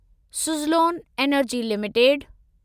Suzlon energy limited